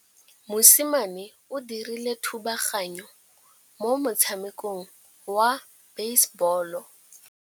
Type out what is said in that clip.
Mosimane o dirile thubaganyô mo motshamekong wa basebôlô.